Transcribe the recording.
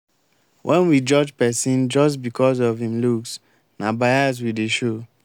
wen we judge pesin just becos of em looks na bias we dey show.